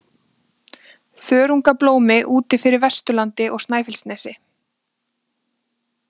Þörungablómi úti fyrir Vesturlandi og Snæfellsnesi.